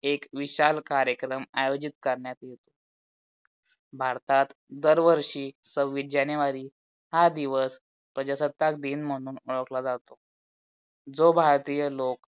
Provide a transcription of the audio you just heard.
एक विशाल कार्यक्रम आयोजित कारणात येतो. भारतात दर वर्षी सव्वीस JANUARY हा दिवस प्रजासत्ताक दिन म्हणून ओळखला जोता. जो भारतीय लोक